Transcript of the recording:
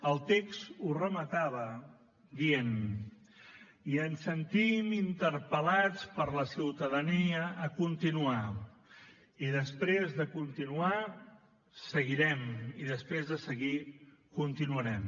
el text ho rematava dient i ens sentim interpel·lats per la ciutadania a continuar i després de continuar seguirem i després de seguir continuarem